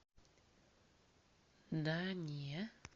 да не